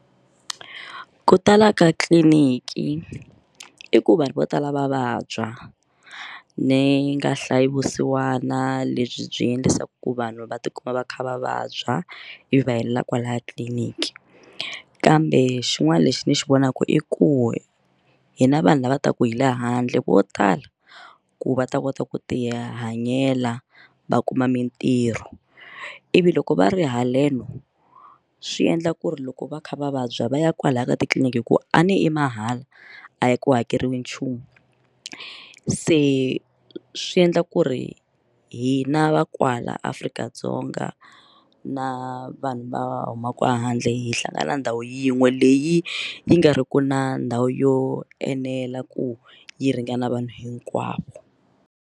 Ku tala ka tliliniki i ku vanhu vo tala va vabya ni nga hlayi vusiwana lebyi byi endlisaka ku vanhu va tikuma va kha va vabya ivi va helela kwalaya tliliniki kambe xin'wana lexi ndzi xi vonaka i ku hina vanhu lava taka hi le handle vo tala ku va ta kota ku ti hanyela va kuma mintirho ivi loko va ri haleno swi endla ku ri loko va kha va vabya va ya kwalaya ka titliliniki hikuva a ni i mahala a ya ku hakeriwi nchumu se swi endla ku ri hina va kwala Afrika-Dzonga na vanhu va humaka handle hi hlangana ndhawu yin'we leyi yi nga ri ku na ndhawu yo enela ku yi ringana vanhu hinkwavo.